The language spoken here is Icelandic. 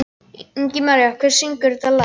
Ingimaría, hver syngur þetta lag?